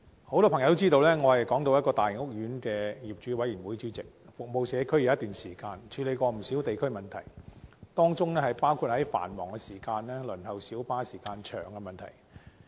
很多朋友都知道，我是港島一個大型屋苑的業主委員會主席，服務社區已有一段時間，曾處理不少地區問題，當中包括在繁忙時段輪候小巴時間很長的問題。